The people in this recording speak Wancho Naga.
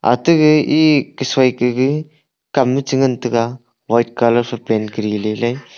ate ge ee kasui kege kam che ngan tega white colour phai paint kar le le.